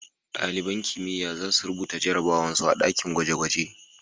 Dalibain kimiyya za su rubuta jarabawan su a dakin gwaje-gwaje.